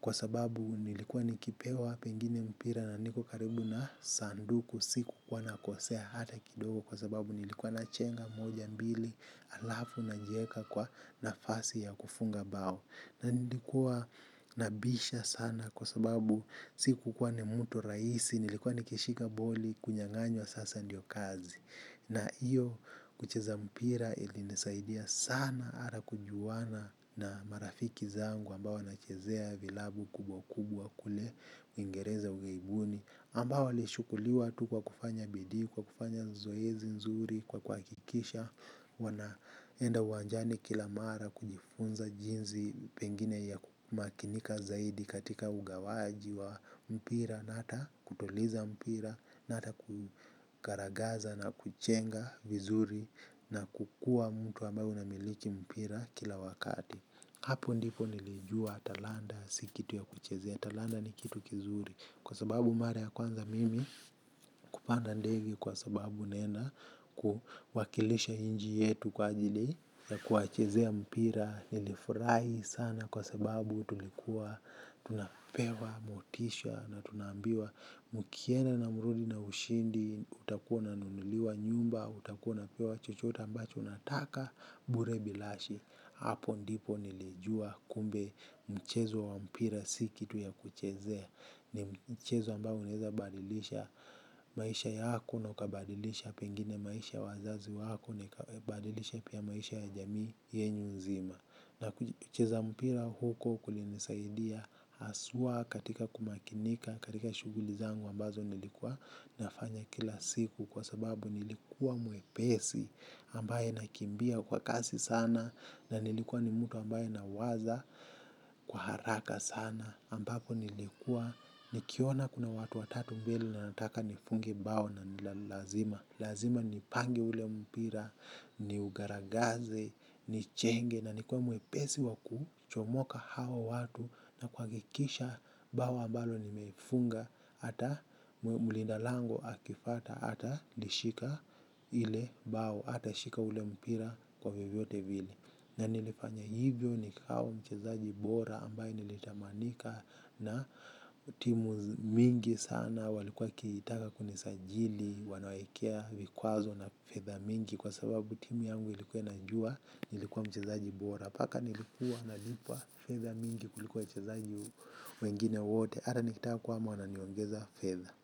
Kwa sababu nilikuwa nikipewa pengine mpira na niko karibu na sanduku. Sikukuwa nakosea hata kidogo kwa sababu nilikuwa nachenga moja mbili alafu na najieka kwa nafasi ya kufunga bao. Na nilikuwa nabisha sana kwa sababu sikukuwa ni mtu rahisi nilikuwa nikishika boli kunyanganywa sasa ndio kazi. Na iyo kucheza mpira ili nisaidia sana ara kujuwana na marafiki zangu ambao wana chezea vilabu kubwa kubwa kule uingereza ugaibuni ambao walichukuliwa tu kwa kufanya bidii, kwa kufanya zoezi nzuri, kwa kukikisha wanaenda uwanjani kila mara kujifunza jinzi pengine ya makinika zaidi katika ugawaji wa mpira. Nata kutuliza mpira. Na ata kukaragaza na kuchenga vizuri. Na kukua mtu ambayo una miliki mpira kila wakati. Hapo ndipo nilijua talanda. Sikitu ya kuchezea. Talanda ni kitu kizuri. Kwa sababu mara ya kwanza mimi kupanda ndege kwa sababu naenda kuwakilisha inji yetu kwa ajili ya kuwachezea mpira. Nilifurai sana kwa sababu tulikuwa, tunapewa, motisha na tunaambiwa mkienda na mrudi na ushindi, utakuwa ununuliwa nyumba, utakuwa una unapewa chochota ambacho unataka, bure bilashi, hapo ndipo nilijua kumbe mchezo wa mpira si kitu ya kuchezea, ni mchezo ambao unaeza badilisha maisha yako, na ukabadilisha pengine maisha wazazi wako, naikabadilisha pia maisha ya jamii yenyu nzima. Na ucheza mpira huko kulinisaidia haswa katika kumakinika katika shughuli zangu ambazo nilikuwa nafanya kila siku kwa sababu nilikuwa mwepesi ambaye nakimbia kwa kasi sana na nilikuwa ni mtu ambaye nawaza kwa haraka sana ambapo nilikuwa ni kiona kuna watu wa tatu mbele na nataka ni funge bao nani lalazima. Lazima ni pange ule mpira, ni ugaragaze, ni chenge na ni kuwe mwepesi waku chomoka hao watu na kuhakikisha bao ambalo nimefunga. Hata mulinda lango akifata, hata lishika ile bao, hata shika ule mpira kwa vyo vyote vile. Na nilifanya hivyo nikawa mchezaji bora ambaye nilitamanika na timu mingi sana walikuwa wakitaka kunisajili wanawakea vikwazo na fedha mingi kwa sababu timu yangu ilikuwa inajua nilikuwa mchezaji bora. Paka nilikuwa na lipwa fedha mingi kuliko wachezaji wengine wote ata nikitaka kuhama wananiongeza fedha.